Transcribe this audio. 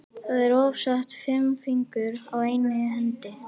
Það eru oftast fimm fingur á einni hendi.